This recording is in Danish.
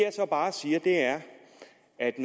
at